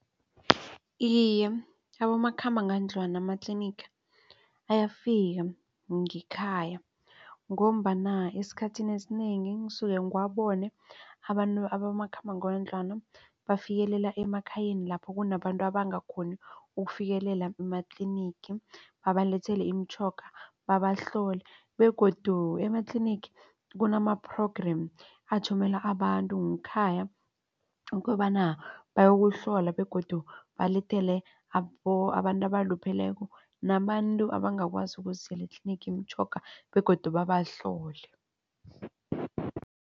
Iye, abomakhambangendlwana amatlinigi ayafika ngekhaya ngombana esikhathini esinengi ngisuke ngiwabone abantu abomakhambangendlwana bafikelela emakhayeni lapho kunabantu abangakghoni ukufikelela ematlinigi babalethele imitjhoga babahlole begodu ematlinigi kunama-program athumele abantu ngekhaya ukobana bayokuhlola begodu balethele abantu abalupheleko nabantu abangakwazi ukuzizela etlinigi imitjhoga begodu babahlole.